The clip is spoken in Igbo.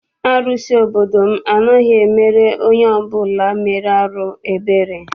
Arụsị obodo m anaghị emere onye ọbụla mere arụ ebere.